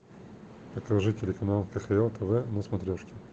покажи телеканал кхл тв на смотрешке